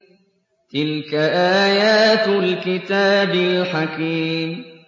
تِلْكَ آيَاتُ الْكِتَابِ الْحَكِيمِ